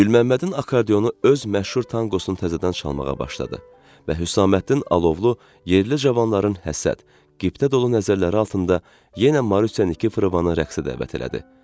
Gülməmmədin akardionu öz məşhur tanqosunu təzədən çalmağa başladı və Hüsarəddin alovlu yerli cavanların həsrət, qibtə dolu nəzərləri altında yenə Marisyaniki Fravanın rəqsə dəvət elədi.